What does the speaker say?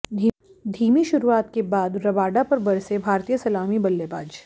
धीमी शुरुआत के बाद रबाडा पर बरसे भारतीय सलामी बल्लेबाज